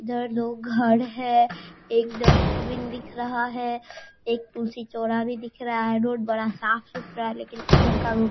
इधर दो घर है एक डस्टबिन दिख रहा है एक तुलसी चौराहा भी दिख रहा है रोड बड़ा साफ-सुथरा है लेकिन इधर का --